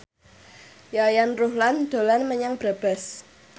Yayan Ruhlan dolan menyang Brebes